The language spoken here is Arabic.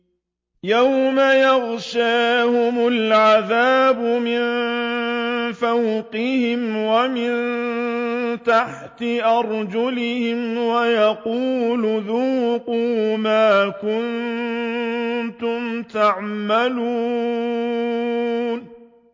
يَوْمَ يَغْشَاهُمُ الْعَذَابُ مِن فَوْقِهِمْ وَمِن تَحْتِ أَرْجُلِهِمْ وَيَقُولُ ذُوقُوا مَا كُنتُمْ تَعْمَلُونَ